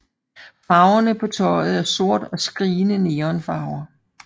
Farverne på tøjet er sort og skrigende neon farver